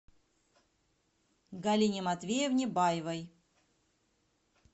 галине матвеевне баевой